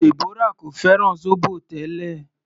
Deborah kò fẹ́ràn zobo tẹ́lẹ̀.